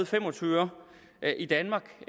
femogtyveøre i danmark